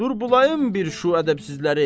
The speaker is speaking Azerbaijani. Dur bulayım bir şu ədəbsizləri.